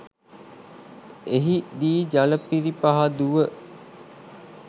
එහි දී ජල පිරිපහදුව